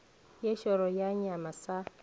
ye šoro sa nyama sa